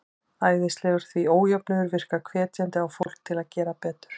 Æskilegur, því ójöfnuður virkar hvetjandi á fólk til að gera betur.